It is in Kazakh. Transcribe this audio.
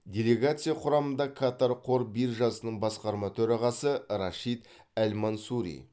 делегация құрамында катар қор биржасының басқарма төрағасы рашид әл мансури